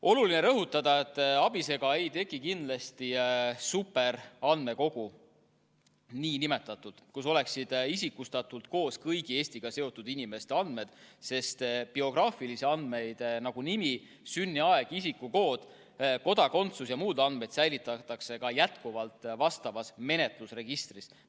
Oluline on rõhutada, et ABIS-ega ei teki kindlasti superandmekogu, kus oleksid isikustatult koos kõigi Eestiga seotud inimeste andmed, sest biograafilisi andmeid, nagu nimi, sünniaeg, isikukood, kodakondsus ja muud andmed säilitatakse ka jätkuvalt vastavas menetlusregistris.